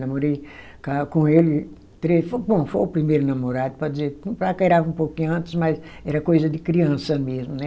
Namorei ca com ele, tre, bom foi o primeiro namorado, pode dizer paquerava um pouquinho antes, mas era coisa de criança mesmo, né?